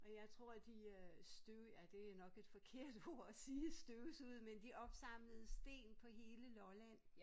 Og jeg tror de øh støv ja det er nok et forkert ord at sige støvsuget men de opsamlede sten på hele Lolland